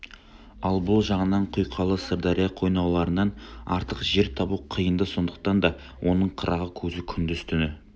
ал бұл жағынан құйқалы сырдария қойнауларынан артық жер табу қиын-ды сондықтан да оның қырағы көзі күндіз-түні